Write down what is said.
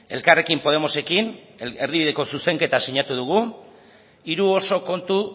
elkarrekin podemosekin erdibideko zuzenketa sinatu dugu hiru oso kontu